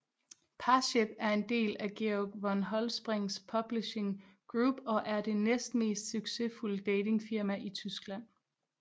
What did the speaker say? Parship er en del af Georg von Holtzbrinck Publishing Group og er det næstmest succesfulde datingfirma i Tyskland